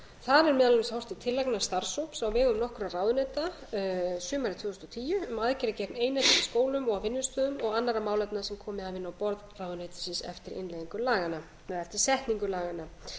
horft til tillagna starfshóps á vegum nokkurra ráðuneyta sumarið tvö þúsund og tíu um aðgerðir gegn einelti í skólum og á vinnustöðum og annarra málefna sem komið hafa inn á borð ráðuneytisins eftir innleiðingu laganna eða eftir setningu laganna